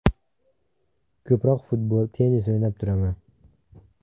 Ko‘proq futbol, tennis o‘ynab turaman.